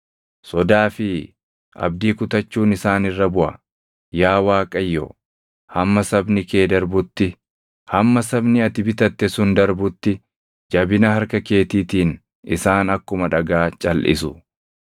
sodaa fi abdii kutachuun isaan irra buʼa. Yaa Waaqayyo, hamma sabni kee darbutti, hamma sabni ati bitatte sun darbutti jabina harka keetiitiin isaan akkuma dhagaa calʼisu.